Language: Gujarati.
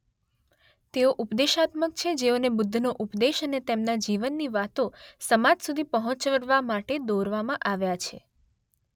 તેઓ ઉપદેશાત્મક છેૢ જેઓને બુદ્ધનો ઉપદેશ અને તેમના જીવનની વાતો સમાજ સુધી પહોંચાડવા માટે દોરવામાં આવ્યા છે